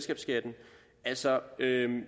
altså